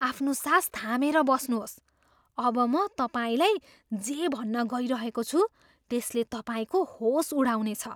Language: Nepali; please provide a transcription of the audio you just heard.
आफ्नो सास थामेर बस्नुहोस्। अब म तपाईँलाई जे भन्न गइरहेको छु, त्यसले तपाईँको होस उडाउनेछ।